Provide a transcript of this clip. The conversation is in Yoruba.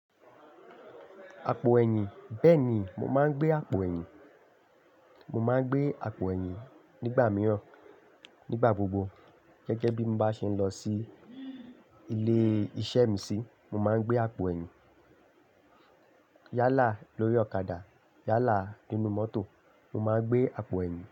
Àpò ẹ̀yìn. Bẹ́ẹ̀ni, mo máa ń gbé àpò ẹ̀yìn. Mo máa ń gbé àpò ẹ̀yìn nígbà mìíràn, nígbà gbogbo gẹ́gẹ́ bí mo bá ṣe ń lọ sí ilé-iṣẹ́ mi sí, mo máa ń gbé àpò ẹ̀yìn. Yálà lórí ọ̀kadà, yálà nínú mọ́tò, mo máa ń gbé àpò ẹ̀yìn.